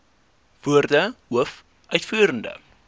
woorde hoof uitvoerende